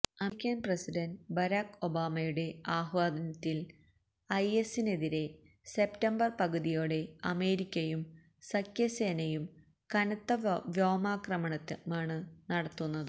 American president Barack ഒബാമയുടെ ആഹ്വാനത്തില് IS ഐഎസിനെതിരെ സെപ്റ്റംബര് പകുതിയോടെ അമേരിക്കയും സഖ്യസേനയും കനത്ത വ്യോമാക്രമണമാണ് നടത്തുന്നത്